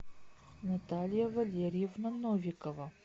наталья валерьевна новикова